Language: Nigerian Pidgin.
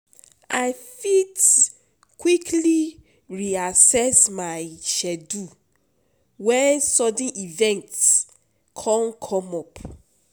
I fit quickly reaccess my schedule when sudden events come up.